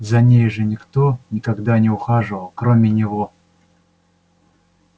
за ней же никто никогда не ухаживал кроме него